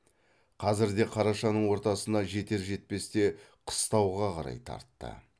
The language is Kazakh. қазірде қарашаның ортасына жетер жетпесте қыстауға қарай тартты